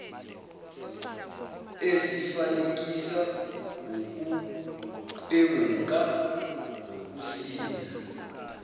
esifanekisa ukuqwenguka nokusinda